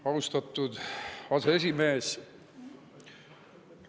Austatud aseesimees!